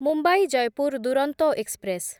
Mumbai Jaipur Duronto express